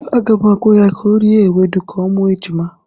Aga m agwa ya ka o rie ewedu ka ọ mụọ ejima.